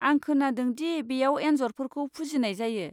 आं खोनादों दि बेयाव एन्जरफोरखौ फुजिनाय जायो।